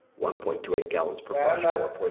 ഉം ഉം വേറെന്താ